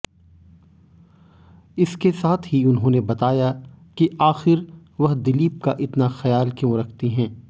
इसके साथ ही उन्होंने बताया कि आखिर वह दिलीप का इतना ख्याल क्यों रखती हैं